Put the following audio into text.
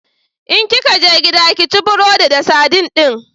In kika je gida, ki ci burodin da sadin din!